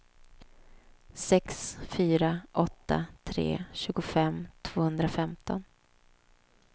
sex fyra åtta tre tjugofem tvåhundrafemton